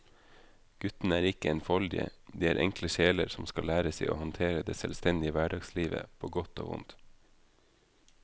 Guttene er ikke enfoldige, de er enkle sjeler som skal lære seg å håndtere det selvstendige hverdagslivet på godt og vondt.